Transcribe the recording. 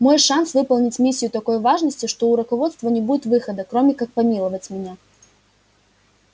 мой шанс выполнить миссию такой важности что у руководства не будет выхода кроме как помиловать меня